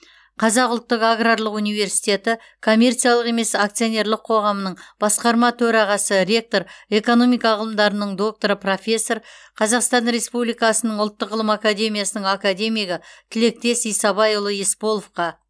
қазақ ұлттық аграрлық университеті коммерциялық емес акционерлік қоғамының басқарма төрағасы ректор экономика ғылымдарының докторы профессор қазақстан республикасының ұлттық ғылым академиясының академигі тілектес исабайұлы есполовқа